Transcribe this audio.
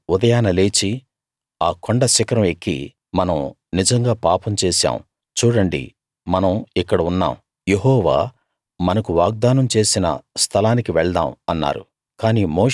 వారు ఉదయాన లేచి ఆ కొండ శిఖరం ఎక్కి మనం నిజంగా పాపం చేశాం చూడండి మనం ఇక్కడ ఉన్నాం యెహోవా మనకు వాగ్దానం చేసిన స్థలానికి వెళ్దాం అన్నారు